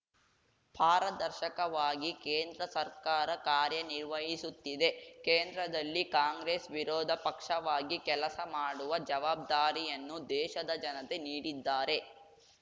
ಪಾರದರ್ಶಕವಾಗಿ ಕೇಂದ್ರ ಸರ್ಕಾರ ಕಾರ್ಯನಿರ್ವಹಿಸುತ್ತಿದೆ ಕೇಂದ್ರದಲ್ಲಿ ಕಾಂಗ್ರೆಸ್‌ ವಿರೋಧ ಪಕ್ಷವಾಗಿ ಕೆಲಸ ಮಾಡುವ ಜವಾಬ್ದಾರಿಯನ್ನು ದೇಶದ ಜನತೆ ನೀಡಿದ್ದಾರೆ